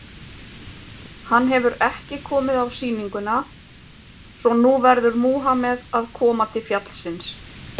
Hann hefur ekki komið á sýninguna, svo að nú verður Múhameð að koma til fjallsins.